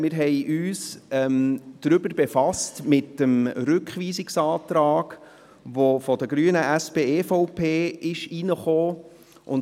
Wir haben uns mit dem Rückweisungsantrag befasst, den die Grünen, SP-JUSO-PSA und die EVP gestellt haben.